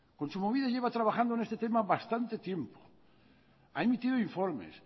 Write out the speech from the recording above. kontsumobide lleva trabajando en este tema bastante tiempo ha emitido informes